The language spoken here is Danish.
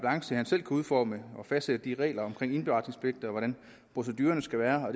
udforme og fastsætte de regler om indberetningspligt og hvordan procedurerne skal være og